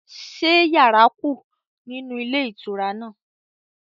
Ṣé yàrá kù nínú ilé ìtura náà?